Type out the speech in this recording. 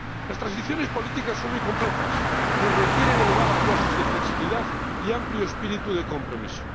Las transiciones políticas son muy complejas y requieren elevadas dosis de flexibilidad y amplio espíritu de compromiso.